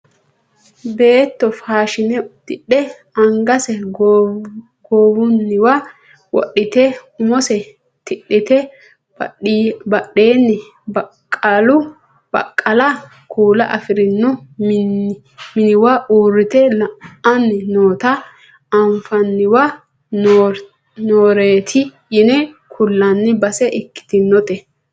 Beetto faashine uddidhe angase goowunniwa wodhite umose tidhite badheenni baqqala kuula afirino miniwa uurrite la'anni noota anfanniwa nooreeti yine kullanni base ikkitinote